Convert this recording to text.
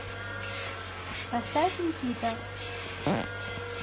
поставь никита